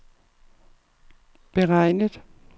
beregnet